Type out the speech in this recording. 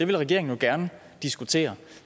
vil regeringen jo gerne diskutere